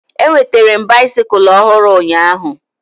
Enwetere m baisikụl ọhụrụ ụnyaahụ